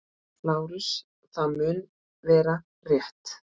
LÁRUS: Það mun vera- rétt.